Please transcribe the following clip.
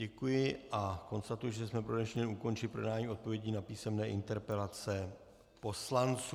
Děkuji a konstatuji, že jsme pro dnešní den ukončili projednání odpovědí na písemné interpelace poslanců.